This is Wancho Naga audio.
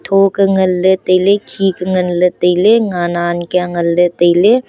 tho ke ngan ley tailey khe ke ngan ley tailey nen ke ngan ley tailey.